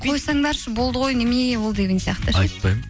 қойсаңдаршы болды ғой немене ол деген сияқты ше айтпаймын